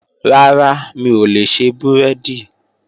Rárá, mi ò lè ṣe búrẹ́dì